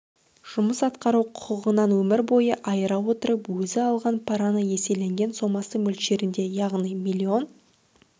жұмыс атқару құқығынан өмір бойына айыра отырып өзі алған параны еселенген сомасы мөлшерінде яғни млн